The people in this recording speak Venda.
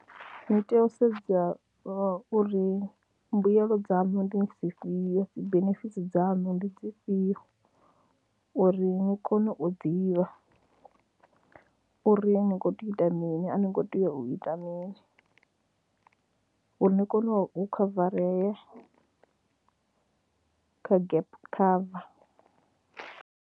Ni tea u sedza uri mbuyelo dzaṋu ndi dzi fhio, dzi benefits dzaṋu ndi dzi fhio uri ni kone u ḓivha uri ni khou tea u ita mini, a ni ngo tea u ita mini, uri ni kone u khavarea kha gap cover.